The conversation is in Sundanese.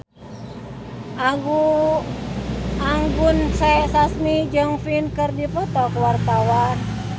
Anggun C. Sasmi jeung Pink keur dipoto ku wartawan